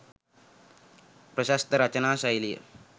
ප්‍රශස්ත රචනා ශෛලිය